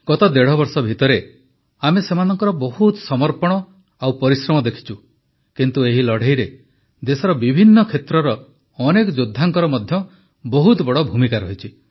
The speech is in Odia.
ଗତ ଦେଢ଼ବର୍ଷ ଭିତରେ ଆମେ ସେମାନଙ୍କର ବହୁତ ସମର୍ପଣ ଓ ପରିଶ୍ରମ ଦେଖିଛୁ କିନ୍ତୁ ଏହି ଲଢ଼େଇରେ ଦେଶର ବିଭିନ୍ନ କ୍ଷେତ୍ରର ଅନେକ ଯୋଦ୍ଧାଙ୍କର ମଧ୍ୟ ବହୁତ ବଡ଼ ଭୂମିକା ରହିଛି